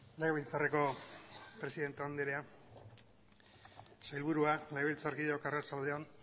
legebiltzarreko presidente andrea sailburua legebiltzarkideok arratsalde on